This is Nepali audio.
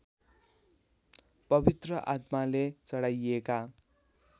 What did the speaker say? पवित्र आत्माले चढाइएका